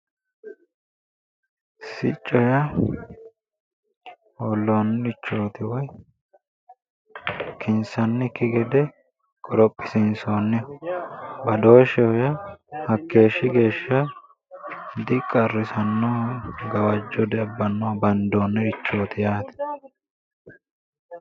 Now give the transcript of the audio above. Sicco yaa hoollonnirichooti woyi kinsannikki gede qorophisiinsoonniho badooshsheho yaa hakkeeshshi geeshsha diqarrisannoho gawajjo diabbannoho bandoonnirichooti yaate.